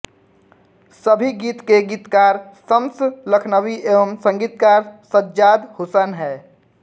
सभी गीत के गीतकार शम्स लखनवी एवं संगीतकार सज्जाद हुसैन है